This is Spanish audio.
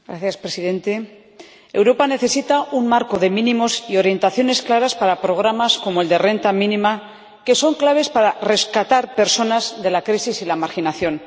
Señor Presidente, Europa necesita un marco de mínimos y orientaciones claras para programas como el de la renta mínima, que son clave para rescatar personas de la crisis y la marginación.